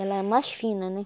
Ela é mais fina, né?